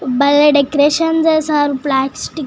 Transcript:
బలే డెకోరేషన్ చేసారు ప్లాస్టిక్ --